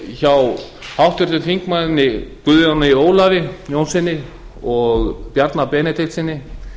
hjá háttvirtum þingmanni guðjóni ólafi jónssyni og bjarna benediktssyni